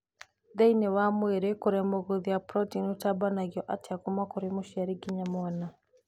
Thĩna wa mwĩrĩ kũremwo gũthĩa proteini ũtambanagio atĩa kuma kũrĩ mũciari nginya mwana